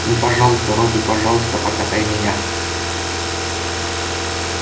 ну пожалуйста робби пожалуйста покатай меня